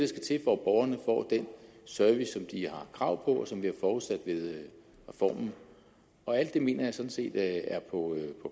skal til for at borgerne får den service som de har krav på og som vi har forudsat ved reformen og alt det mener jeg sådan set er på